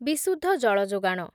ବିଶୁଦ୍ଧ ଜଳ ଯୋଗାଣ